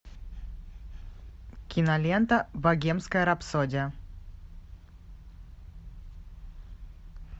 кинолента богемская рапсодия